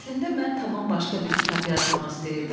Əslində mən tamam başqa bir kitab yazmaq istəyirdim.